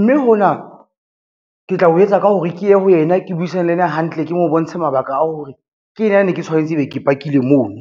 mme hona ke tla o etsa ka hore ke ye ho yena ke buisane le yena hantle, ke mo bontshe mabaka a hore ke nna ne ke tshwanetse e be ke pakile mono.